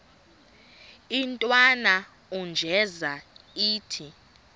intwana unjeza ithi